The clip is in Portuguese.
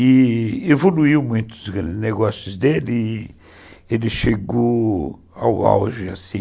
E evoluiu muito os negócios dele e ele chegou ao auge assim